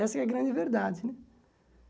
Essa é a grande verdade, né?